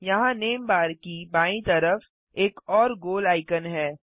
यहाँ name bar की बायीं तरफ एक और गोल आइकन है